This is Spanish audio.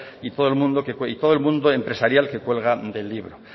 y todo el mundo empresarial que cuelga del libro